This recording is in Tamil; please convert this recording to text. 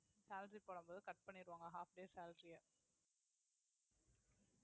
salary போடும்போது cut பண்ணிருவாங்க half day salary ஆ